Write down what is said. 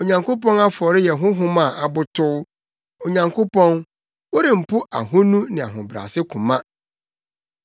Onyankopɔn afɔre yɛ honhom a abotow, Onyankopɔn, worempo ahonu ne ahobrɛase koma.